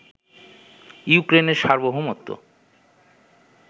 ইউক্রেনের সার্বভৌমত্ব